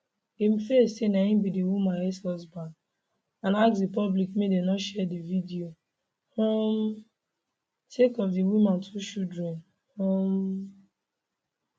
im face say na im be di woman exhusband and ask di public make dem no share di video um sake of di woman two children um